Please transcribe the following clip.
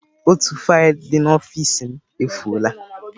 Otu faịlụ dị n'ọfịs m efụo la.